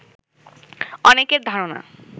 অনেকের ধারণা